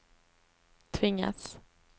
tvingas